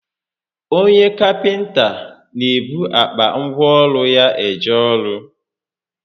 Onye kapịnta n'ebu akpa ngwa ọrụ ya eje ọrụ